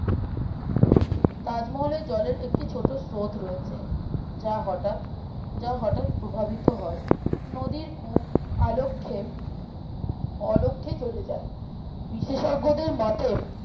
তাজমহলের জলের একটি ছোটো স্রোত রয়েছে যা হটাৎ যা হটাৎ প্রভাবিত হয় নদীর কূপ আলক্ষেপ অলক্ষে চলে যায় বিশেজ্ঞদের মতে